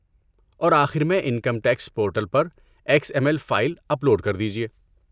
اور آخر میں انکم ٹیکس پورٹل پر X M L file upload کر دیجئے۔